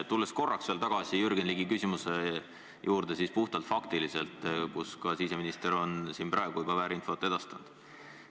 Tulen korraks veel tagasi Jürgen Ligi küsimuse juurde, millele vastates on siseminister siin väärinfot edastanud.